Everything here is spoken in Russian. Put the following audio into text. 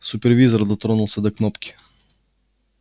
супервизор дотронулся до кнопки